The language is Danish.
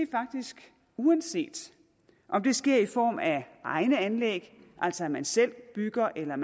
faktisk uanset om det sker i form af egne anlæg altså at man selv bygger eller